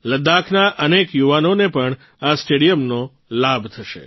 લદ્દાખના અનેક યુવાનોને પણ આ સ્ટેડિયમનો લાભ થશે